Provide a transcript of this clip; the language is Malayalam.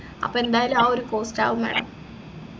അപ്പൊ എന്തായാലും ആ ഒരു cost ആവും madam